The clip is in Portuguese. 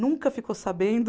Nunca ficou sabendo...